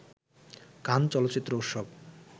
কান চলচ্চিত্র উৎসব